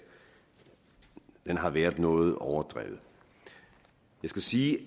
har været noget overdrevet jeg skal sige